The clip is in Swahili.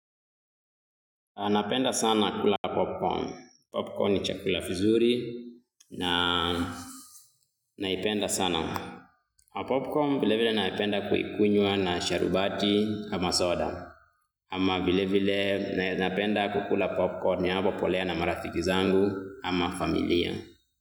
Napenda sana kula popcorn. Popcorn ni chakula kizuri na naipenda sana. Popcorn vile vile napenda kuikunywa na sharubati ama soda ama vile vile napenda kukula popcorn ya hapo polea na marafiki zangu ama familia.